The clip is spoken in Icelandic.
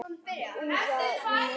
Úðað í mig moldinni.